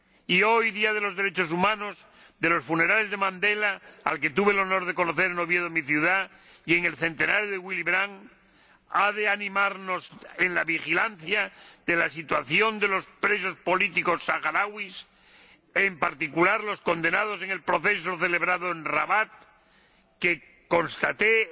Y hoy, Día de los Derechos Humanos, de los funerales de Mandela —al que tuve el honor de conocer en Oviedo, mi ciudad—, y del centenario de Willy Brandt, ha de animarnos a vigilar la situación de los presos políticos saharauis, en particular de los condenados en el proceso celebrado en Rabat, que constaté fue